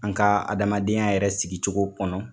An ka adamadenya yɛrɛ sigicogo kɔnɔ